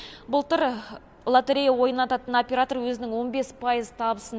былтыр лотерея ойнататын оператор өзінің он бес пайыз табысын